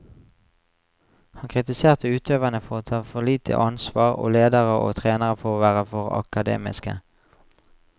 Han kritiserte utøverne for å ta for lite ansvar, og ledere og trenere for å være for akademiske.